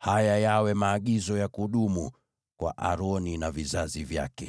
“Haya yawe maagizo ya kudumu kwa Aroni na vizazi vyake.